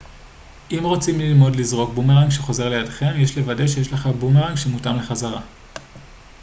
אם רוצים ללמוד לזרוק בומרנג שחוזר לידכם יש לוודא שיש לך בומרנג שמותאם לחזרה